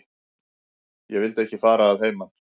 Ég vildi ekki fara að heiman.